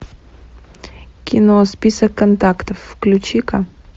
кино список контактов включи ка